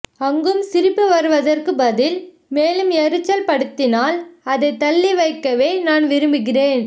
அங்கும் சிரிப்பு வருவதற்க்கு பதில் மேலும் எரிச்சல் படுத்தினால் அதை தள்ளி வைக்கவே நான் விரும்புகிறேன்